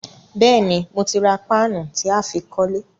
Béèni, mo ti ra paanu tí á fi kólé